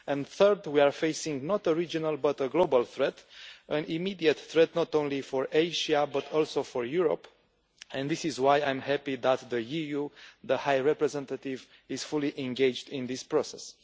Thirdly, we are facing not a regional but a global threat an immediate threat not only for Asia, but also for Europe and this is why I am happy that the EU and the High Representative is fully engaged in this process.